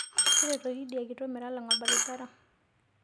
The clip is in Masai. Teretoki idia kitok metalanga lbarabara